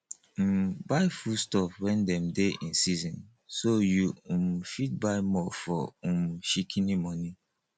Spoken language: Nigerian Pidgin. um buy food stuff when dem dey in season so you um fit by more for um shikini money